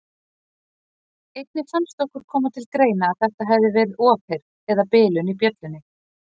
Einnig fannst okkur koma til greina að þetta hefði verið ofheyrn eða bilun í bjöllunni.